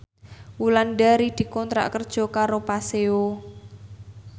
Wulandari dikontrak kerja karo Paseo